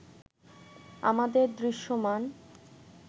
আমাদের দৃশ্যমান